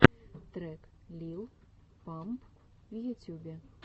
трек лил памп в ютюбе